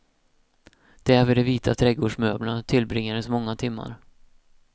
Där vid de vita trädgårdsmöblerna tillbringades många timmar.